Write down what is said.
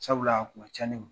Sabula a kun ka ca ne ma.